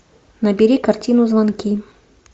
набери картину звонки